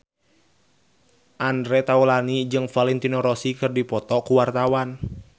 Andre Taulany jeung Valentino Rossi keur dipoto ku wartawan